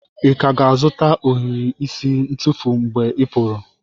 Ị ka ga-azụta ohiri isi ntufu mgbe ị pụrụ?